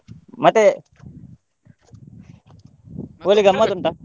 ಮತ್ತೆ .